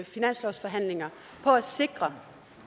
finanslovsforhandlinger på at sikre